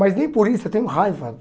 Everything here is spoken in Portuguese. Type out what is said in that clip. Mas nem por isso eu tenho raiva.